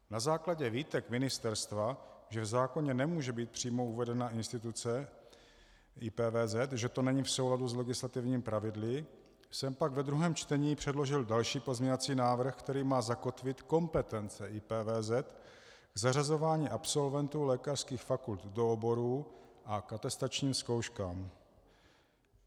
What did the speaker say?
Na základě výtek ministerstva, že v zákoně nemůže být přímo uvedena instituce IPVZ, že to není v souladu s legislativními pravidly, jsem pak ve druhém čtení předložil další pozměňovací návrh, který má zakotvit kompetence IPVZ k zařazování absolventů lékařských fakult do oborů a k atestačním zkouškám.